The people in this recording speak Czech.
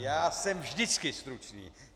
Já jsem vždycky stručný!